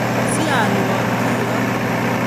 Siolwak kiyon